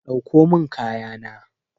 Dauko min kaya na.